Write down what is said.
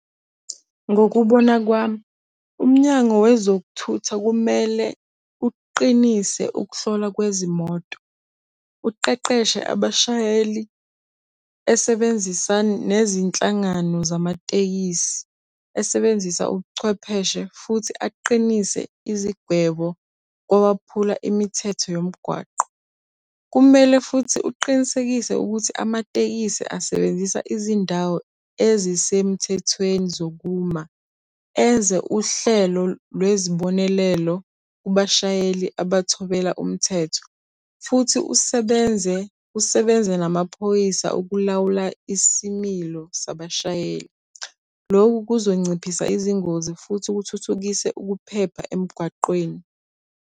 Ngokubona kwami, umnyango wezokuthutha kumele uqinise ukuhlolwa kwezimoto. Uqeqeshe abashayeli esebenzisa nezinhlangano zamatekisi. Esebenzisa ubuchwepheshe futhi aqinise izigwebo kowaphula imithetho yomgwaqo. Kumele futhi uqinisekise ukuthi amatekisi asebenzisa izindawo ezisemthethweni zokuma. Enze uhlelo lwezibonelelo kubashayeli abathobela umthetho. Futhi usebenze usebenze namaphoyisa ukulawula isimilo sabashayeli. Lokhu kuzonciphisa izingozi futhi kuthuthukise ukuphepha emgwaqweni.